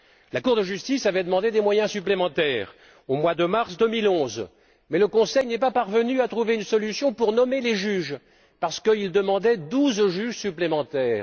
La Cour de justice avait demandé des moyens supplémentaires au mois de mars 2011 mais le Conseil n'est pas parvenu à trouver une solution pour nommer les juges parce qu'il demandait douze juges supplémentaires.